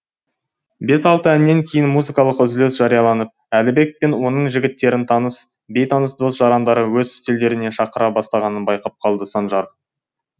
бес алты әннен кейін музыкалық үзіліс жарияланып әлібек пен оның жігіттерін таныс бейтаныс дос жарандары өз үстелдеріне шақыра бастағанын байқап қалды санжар